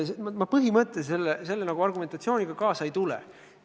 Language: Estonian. Selle argumentatsiooniga ma põhimõtteliselt kaasa ei tule.